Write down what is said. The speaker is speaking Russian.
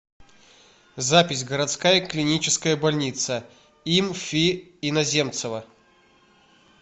запись городская клиническая больница им фи иноземцева